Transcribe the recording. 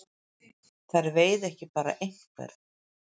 Þær veiða ekki bara einhvern.